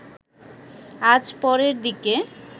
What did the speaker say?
আজ পরের দিকে